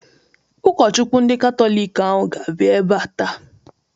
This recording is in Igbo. Ụkọchukwu ndị Katọlik ahụ ga-abịa ebea taa.